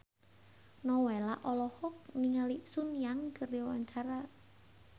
Nowela olohok ningali Sun Yang keur diwawancara